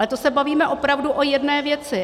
Ale to se bavíme opravdu o jedné věci.